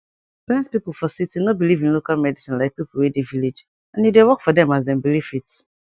plent pipu for city no belive in local medicine like pipu wey de village and e dey work for dem as dem belivefit